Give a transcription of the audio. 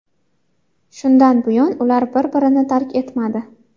Shundan buyon ular bir-birini tark etmadi.